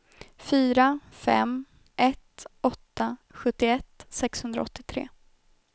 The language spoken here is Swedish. fyra fem ett åtta sjuttioett sexhundraåttiotre